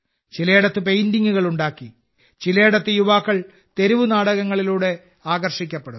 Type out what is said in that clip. ചിലയിടത്ത് പെയിന്റിംഗുകൾ ഉണ്ടാക്കി ചിലയിടത്ത് യുവാക്കൾ തെരുവ് നാടകങ്ങളിലൂടെ ആകർഷിക്കപ്പെടുന്നു